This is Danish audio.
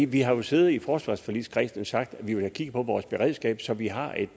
vi har jo siddet i forsvarsforligskredsen og sagt at vi vil have kigget på vores beredskab så vi har et